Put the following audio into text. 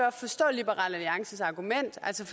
at forstå liberal alliances argument altså